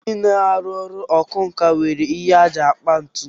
Ndị na-arụ ọrụ ọkwánka nwere ihe ha ji akpa ntu